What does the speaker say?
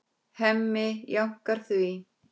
Hemmi jánkar því.